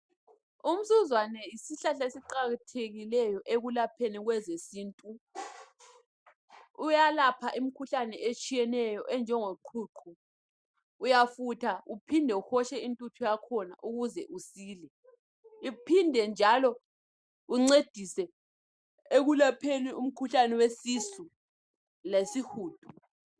Usuzwane yisihlahla esiqakathekileyo ekulapheni kwezesintu. Uyalapha imkhuhlane otshiyeneyo onjengoqhuqho. Uyafutha uphinde uhotshe intuthu yakhona ukuze usile uphinde njalo uncedise ekulapheni umkhuhlane wesisu lesihudo.